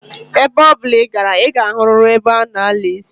Ebe obula I gara, I ga-ahuriri ebe a na-ala isi.